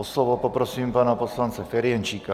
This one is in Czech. O slovo poprosím pana poslance Ferjenčíka.